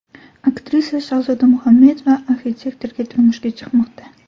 Aktrisa Shahzoda Muhammedova arxitektorga turmushga chiqmoqda .